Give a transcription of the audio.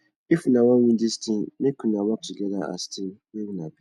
if una wan win dis tin make una work togeda as team wey una be